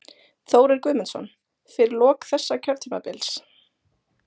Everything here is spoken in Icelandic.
Þórir Guðmundsson: Fyrir lok þessa kjörtímabils?